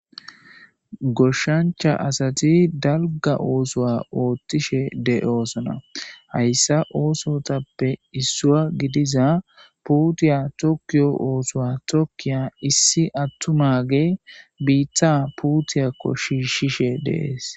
goshshancha asati dalga oosowa oothtishe de7oosona hayssa oosotappe issua gidiza puutiya tokkiyo oosowa tokkiya issi attumage biitta puutiyakko shiishshishe deees